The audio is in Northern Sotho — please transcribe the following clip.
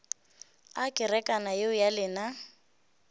a kerekana yeo ya lena